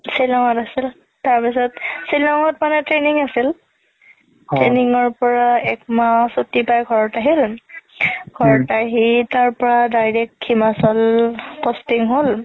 শ্বিলংত আছিল তাৰ পিছত শ্বিলংত মানে training আছিল training ৰ পৰাই এক মাহ চুতি পাই ঘৰত আহিল ঘৰত আহি তাৰ পৰা direct হিমাচল posting হ'ল